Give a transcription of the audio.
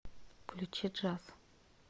включи джаз